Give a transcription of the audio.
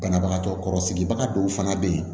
Banabagatɔ kɔrɔ sigibaga dɔw fana bɛ yen